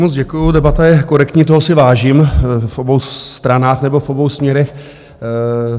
Moc děkuji, debata je korektní, toho si vážím v obou stranách nebo v obou směrech.